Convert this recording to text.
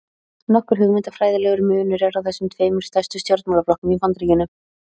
Nokkur hugmyndafræðilegur munur er á þessum tveimur stærstu stjórnmálaflokkum í Bandaríkjunum.